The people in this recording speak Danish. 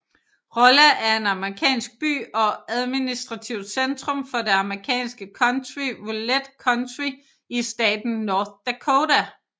Rolla er en amerikansk by og administrativt centrum for det amerikanske county Rolette County i staten North Dakota